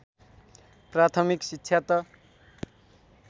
प्राथमिक शिक्षा त